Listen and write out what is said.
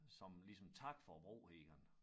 Som ligesom tak for æ bro her